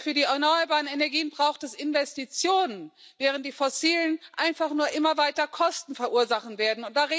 Denn für die erneuerbaren Energien braucht es Investitionen, während die fossilen einfach nur immer weiter Kosten verursachen werden.